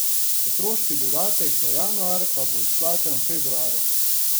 Otroški dodatek za januar pa bo izplačan februarja.